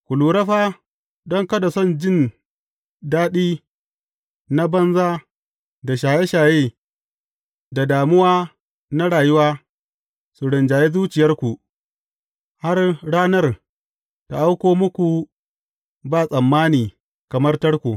Ku lura fa don kada son jin daɗi na banza, da shaye shaye, da damuwa na rayuwa su rinjayi zuciyarku, har ranar ta auko muku ba tsammani kamar tarko.